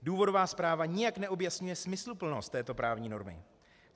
Důvodová zpráva nijak neobjasňuje smysluplnost této právní normy.